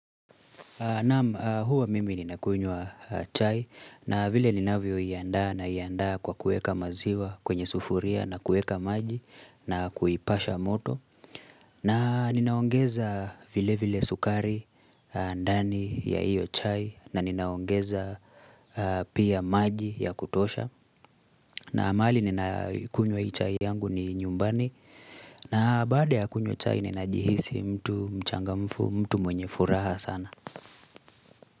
Naam, huwa mimi nina kunywa chai na vile linavyo iandda na iandaa kwa kueka maziwa kwenye sufuria na kueka maji na kuipasha moto. Na ninaongeza vile vile sukari ndani ya hiyo chai na ninaongeza pia maji ya kutosha. Na mahali nina kunywa hii chai yangu ni nyumbani na baada ya kunywa chai ninajihisi mtu mchangamfu, mtu mwenye furaha sana.